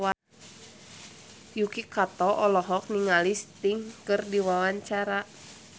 Yuki Kato olohok ningali Sting keur diwawancara